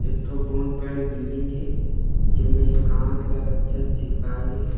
एक ठो बहुत बड़े बिल्डिंग हे जेमे कांच ला अच्छा से चिपकाए गे हे।